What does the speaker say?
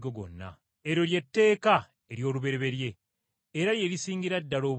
Eryo ly’etteeka ery’olubereberye era lye Iisingira ddala obukulu.